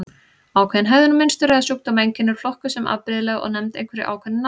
Ákveðin hegðunarmynstur eða sjúkdómseinkenni eru flokkuð sem afbrigðileg og nefnd einhverju ákveðnu nafni.